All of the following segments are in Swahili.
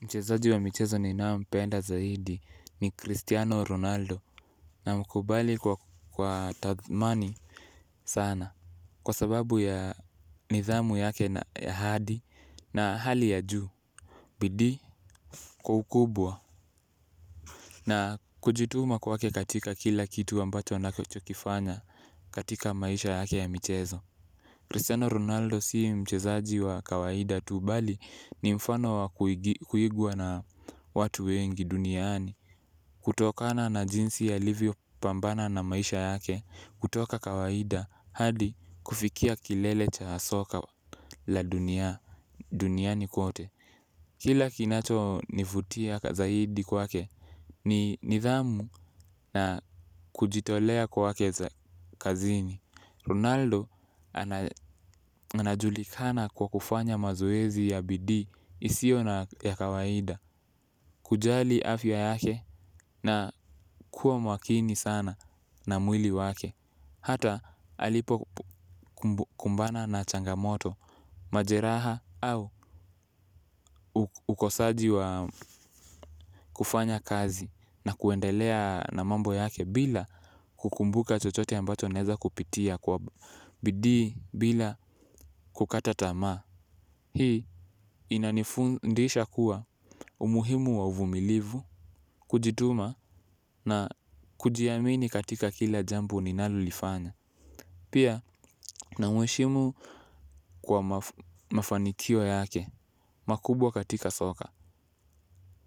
Mchezaji wa michezo ninaye mpenda zaidi ni Cristiano Ronaldo na mkubali kwa tathmani sana. Kwa sababu ya nidhamu yake na ya hadi na hali ya juu. Bidii kwa ukubwa na kujituma kwake katika kila kitu ambacho anachokifanya katika maisha yake ya michezo Cristiano Ronaldo si mchezaji wa kawaida tu bali ni mfano wa kuigwa na watu wengi duniani. Kutokana na jinsi ya alivyo pambana na maisha yake, kutoka kawaida hadi kufikia kilele cha soka la duniani kote. Kila kinacho nivutia zaidi kwake, ni nidhamu na kujitolea kwake kazini. Ronaldo anajulikana kwa kufanya mazoezi ya bidii isio ya kawaida. Kujali afya yake na kuwa makini sana na mwili wake. Hata alipo kumbana na changamoto, majeraha au ukosaji wa kufanya kazi na kuendelea na mambo yake bila kukumbuka chochote ambacho anaweza kupitia kwa bidii bila kukataa tamaa. Hii inanifundisha kuwa umuhimu wa uvumilivu kujituma na kujiamini katika kila jambo ninalo lifanya. Pia na mweshimu kwa mafanikio yake makubwa katika soka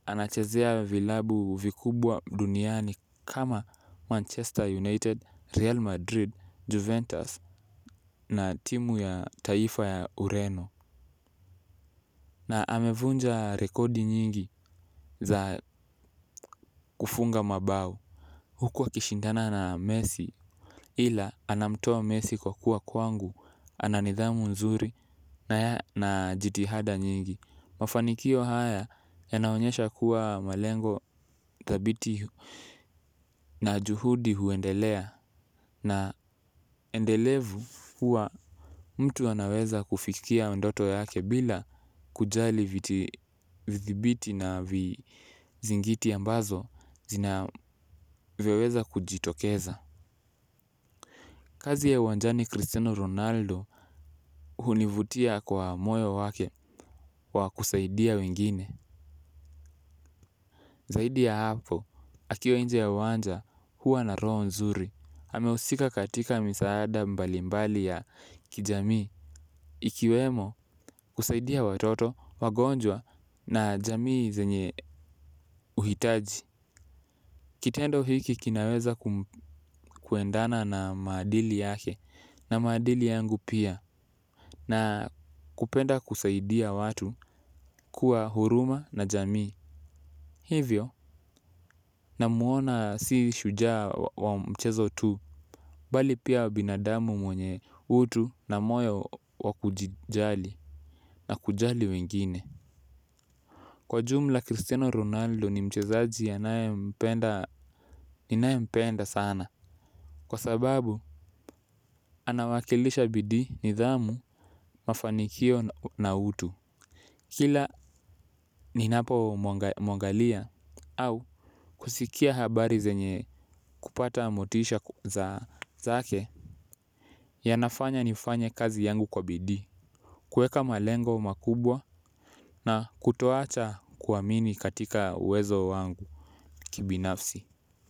anachezea vilabu vikubwa duniani kama Manchester united real madrid juventus na timu ya taifa ya ureno. Na amevunja rekodi nyingi za kufunga mabao huhu akishindana na messi ila anamtoa messi kwa kuwa kwangu. Ananidhamu nzuri na jitihada nyingi. Mafanikio haya yanaonyesha kuwa malengo thabiti na juhudi huendelea. Na endelevu huwa mtu anaweza kufikia ndoto yake bila kujali vithibiti na vizingiti ambazo zinaweza kujitokeza. Kazi ya uwanjani Cristiano Ronaldo hunivutia kwa moyo wake wa kusaidia wengine. Zaidi ya hapo, akiwa nje ya uwanja huwa na roho nzuri, amehusika katika misaada mbalimbali ya kijamii ikiwemo kusaidia watoto wagonjwa na jamii zenye uhitaji. Kitendo hiki kinaweza kuendana na maadili yake na maadili yangu pia. Na kupenda kusaidia watu kuwa huruma na jamii. Hivyo na muona si shujaa wa mchezo tu. Bali pia binadamu mwenye utu na moyo wakujijali na kujali wengine. Kwa jumla Cristiano Ronaldo ni mchezaji ninae mpenda sana. Kwa sababu, anawakilisha bidii nidhamu mafanikio na utu. Kila ninapo mwangalia au kusikia habari zenye kupata motisha zake ya nafanya nifanye kazi yangu kwa bidii. Kueka malengo makubwa na kutoacha kuamimi katika uwezo wangu kibinafsi.